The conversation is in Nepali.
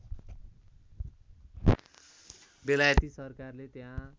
बेलायती सरकारले त्यहाँ